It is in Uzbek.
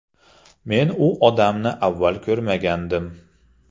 Men u odamni avval ko‘rmagandim.